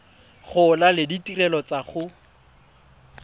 gola le ditirelo tsa go